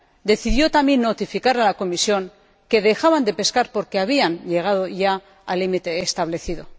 decidió también notificar a la Comisión que dejaban de pescar porque habían llegado ya al límite establecido.